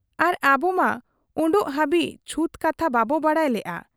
ᱟᱨ ᱟᱵᱚᱢᱟ ᱚᱰᱚᱠᱚᱜ ᱦᱟᱹᱵᱤᱡ ᱪᱷᱩᱛ ᱠᱟᱛᱷᱟ ᱵᱟᱵᱚ ᱵᱟᱰᱟᱭ ᱞᱮᱜ ᱟ ᱾